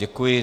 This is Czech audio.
Děkuji.